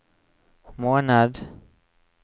måned